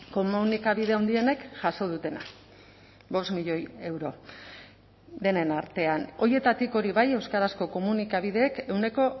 komunikabide handienek jaso dutena bost milioi euro denen artean horietatik hori bai euskarazko komunikabideek ehuneko